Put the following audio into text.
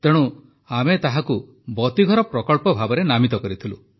ତେଣୁ ଆମେ ତାହାକୁ ବତୀଘର ପ୍ରକଳ୍ପ ଭାବେ ନାମିତ କରିଥିଲୁ